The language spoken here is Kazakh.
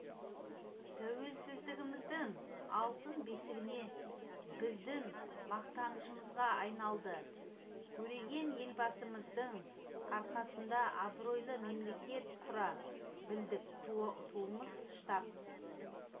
тәуелсіздігіміздің алтын бесігіне біздің мақтанышымызға айналды көреген елбасымыздың арқасында абыройлы мемлекет құра білдік туымыз штаб